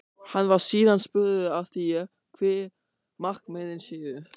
Hann var síðan spurður að því, hver markmiðin séu?